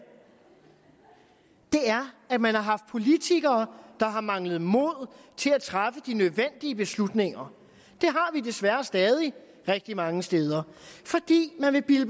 er at man har haft politikere der har manglet mod til at træffe de nødvendige beslutninger det har vi desværre stadig rigtig mange steder fordi man vil bilde